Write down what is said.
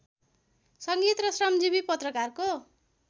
संगीत र श्रमजीवी पत्रकारको